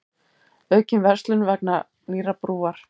Aukin verslun vegna nýrrar brúar